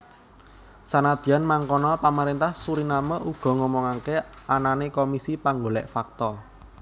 Senadyan mangkono pamaréntah Suriname uga ngomongaké anané komisi panggolèk fakta